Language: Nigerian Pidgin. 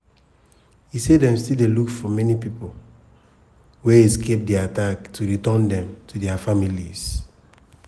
e say dem still dey look for many pipo wey escape di attack to return dem to dia families.